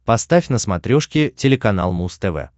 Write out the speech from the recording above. поставь на смотрешке телеканал муз тв